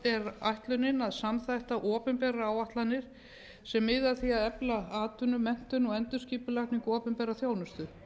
er ætlunin að samþætta opinberar áætlanir sem miða að því að efla atvinnu menntun og endurskipulagningu opinberrar þjónustu